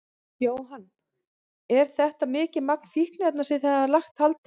Jóhann: Er þetta mikið magn fíkniefna sem þið hafið lagt hald á?